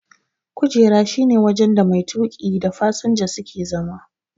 kujera shi ne wajen da mai tuki da fasinja suke zama.